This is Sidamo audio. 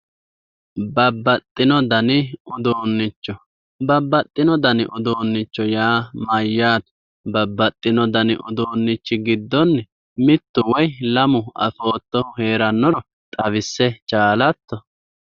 Babbaxxino dani uduunnicho, babbaxxino dani uduunnicho yaa mayyaate? Babbaxxino dani uduunnichi giddonni mittu woy lamu afoottohu heerannoro xawisse chaalatto?